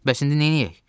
Bəs indi neyləyək?